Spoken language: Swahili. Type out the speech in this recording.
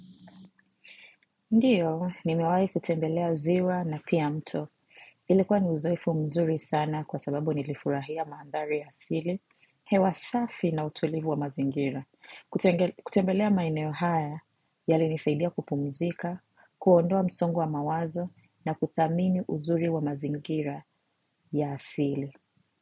Ndiyo, nimewahi kutembelea ziwa na pia mto. Ilikuwa ni uzoefu mzuri sana kwa sababu nilifurahia maandhari ya asili, hewa safi na utulivu wa mazingira. Kutembelea maeneo haya yalinisaidia kupumzika, kuondoa msongo wa mawazo na kuthamini uzuri wa mazingira ya asili.